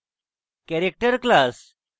character class